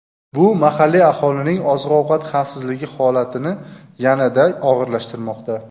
Bu mahalliy aholining oziq-ovqat xavfsizligi holatini yanada og‘irlashtirmoqda.